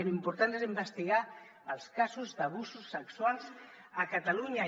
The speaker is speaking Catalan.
l’important és investigar els casos d’abusos sexuals a catalunya